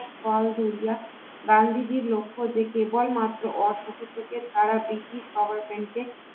গান্ধীজীর লক্ষ্য যে কেবলমাত্র অসহযোগের দ্বারা British Parliament